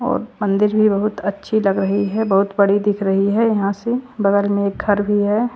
और मंदिर भी बहुत अच्छी लग रही है बहुत बड़ी दिख रही है यहां से बगल में एक घर भी है।